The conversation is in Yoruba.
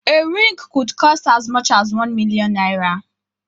A ring could cost as much as one million naira